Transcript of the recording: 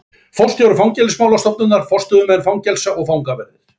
Forstjóri fangelsismálastofnunar, forstöðumenn fangelsa og fangaverðir.